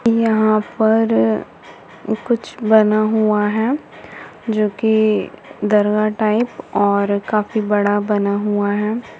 यहाँ पर कुछ बना हूआ है जोकि दरगाह टाइप और काफी बड़ा बना हूआ है।